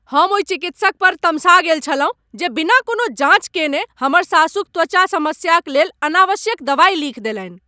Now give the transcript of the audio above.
हम ओहि चिकित्सक पर तमसा गेल छलहुँ जे बिना कोनो जाँच कएने हमर सासुक त्वचा समस्याक लेल अनावश्यक दबाइ लिखि देलनि।